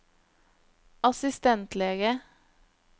assistentlege